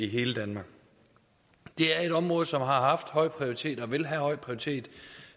hele danmark det er et område som har haft høj prioritet og vil have høj prioritet